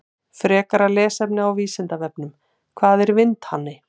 Frekara lesefni á Vísindavefnum: Hvað er vindhani?